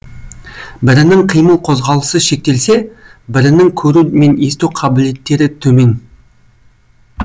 бірінің қимыл қозғалысы шектелсе бірінің көру мен есту қабілеттері төмен